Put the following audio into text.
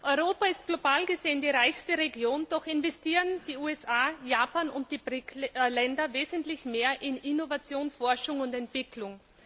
Europa ist global gesehen die reichste Region, doch investieren die USA, Japan und BRIC Länder wesentlich mehr in Innovation, Forschung und Entwicklung.